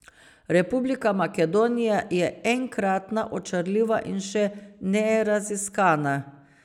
Republika Makedonija je enkratna, očarljiva in še neraziskana.